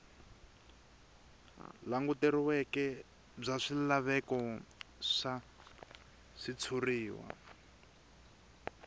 languteriweke bya swilaveko swa switshuriwa